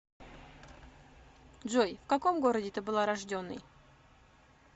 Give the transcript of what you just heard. джой в каком городе ты была рожденой